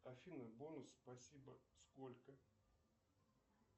афина бонус спасибо сколько